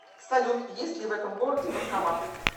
салют есть ли в этом городе банкоматы